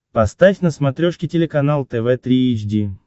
поставь на смотрешке телеканал тв три эйч ди